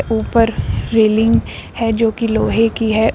ऊपर रेलिंग है जो की लोहे की है --